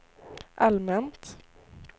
allmänt